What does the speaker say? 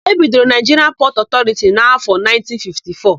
E bidoro Naịjiria Pọtụ Ọtọriti n'áfọ̀ 1954.